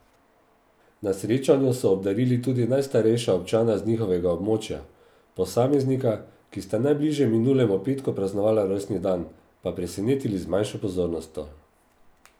Na srečanju so obdarili tudi najstarejša občana z njihovega območja, posameznika, ki sta najbližje minulemu petku praznovala rojstni dan, pa presenetili z manjšo pozornostjo.